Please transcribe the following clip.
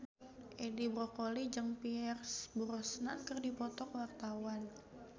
Edi Brokoli jeung Pierce Brosnan keur dipoto ku wartawan